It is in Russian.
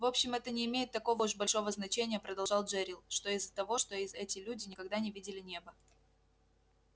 в общем это не имеет такого уж большого значения продолжал джерилл что из того что эти люди никогда не видели неба